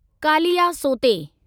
कालियासोते